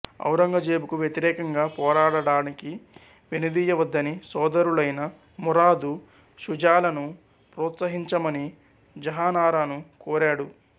ఔరంగజేబుకు వ్యతిరేకంగా పోరాడడానికి వెనుదీయవద్దని సోదరులైన మురాదు షుజాలను ప్రోత్సహించమని జహానారాను కోరాడు